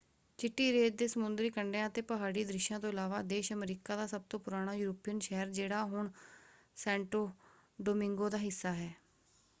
ਚਿੱਟੀ ਰੇਤ ਦੇ ਸਮੁੰਦਰੀ ਕੰਡਿਆਂ ਅਤੇ ਪਹਾੜੀ ਦ੍ਰਿਸ਼ਾਂ ਤੋਂ ਇਲਾਵਾ ਦੇਸ਼ ਅਮਰੀਕਾ ਦਾ ਸਭ ਤੋਂ ਪੁਰਾਣਾ ਯੂਰਪੀਅਨ ਸ਼ਹਿਰ ਜਿਹੜਾ ਹੁਣ ਸੈਂਟੋ ਡੋਮਿੰਗੋ ਦਾ ਹਿੱਸਾ ਹੈ।